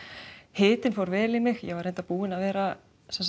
hitinn fór vel í mig ég var reyndar búin að vera